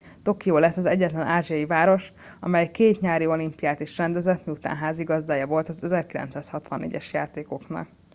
tokió lesz az egyetlen ázsiai város amely két nyári olimpiát is rendezett miután házigazdája volt az 1964 es játékoknak